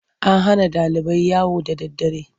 An hana ɗalibai yawo da daddare.